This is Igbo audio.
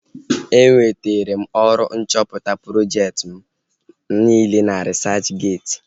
E wetara m ọrụ nchọpụta projekti mụ niile na risachgeeti